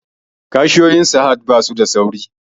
Cashiyoyin sahad basu da sauri